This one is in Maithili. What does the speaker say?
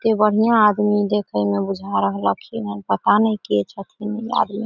की बढ़िया आदमी देखे में बुझा रहलखिन हेय पता ने के छथीन इ आदमी।